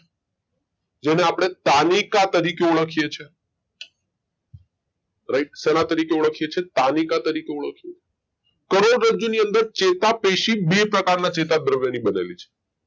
જેને આપડે તાનિકા તરીખે ઓળખીયે છીએ રાઈટ શેના તરીખે ઓળખીએ છીએ તાનિકા તરીખે ઓળખીએ છીએ કરોડરજ્જુ ની અંદર ચેતાપેશી બે પ્રકાર ના ચેતા દ્રવ્ય ની બનેલી છે